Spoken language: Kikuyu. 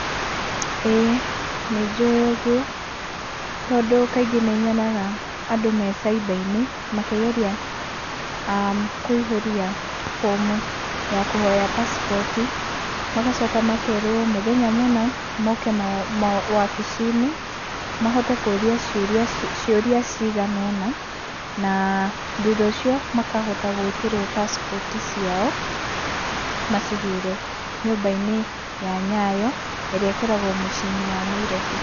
ĩĩ nĩ njũĩ ũgwo, tondũ kaingĩ nĩ nyonaga andũ me cyba-inĩ makĩgeria kũihũria bomu ya kũhoya pasipoti , magacoka makerwo mũthenya mũna moke wabici-inĩ makahota kũrĩa ciũria ciganona, na thutha ũcio makahota gwĩtĩrwo pasipoti ciao macigĩre nyũmba-inĩ ya Nyayo , ĩrĩa ĩkoragwo mũciĩ-inĩ wa Nairobi.